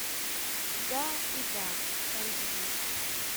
да и да айч ди